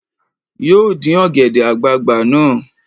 Yóò dín ọ̀gẹ̀dẹ̀ àgbagbà náà